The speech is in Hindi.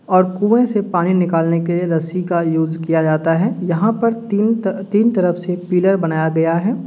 और कुंए से पानी निकालने के रस्सी का यूज़ किया जाता है। यहाँं पर तीन-त-तीन तरफ से पिलर बनाया गया है।